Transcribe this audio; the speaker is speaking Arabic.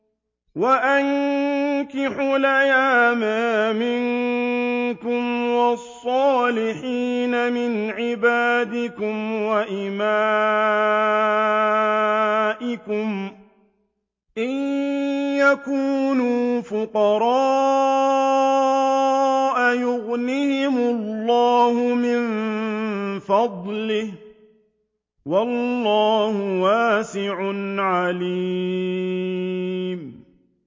وَأَنكِحُوا الْأَيَامَىٰ مِنكُمْ وَالصَّالِحِينَ مِنْ عِبَادِكُمْ وَإِمَائِكُمْ ۚ إِن يَكُونُوا فُقَرَاءَ يُغْنِهِمُ اللَّهُ مِن فَضْلِهِ ۗ وَاللَّهُ وَاسِعٌ عَلِيمٌ